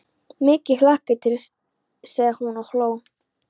Mikið hlakka ég til sagði hún og hló.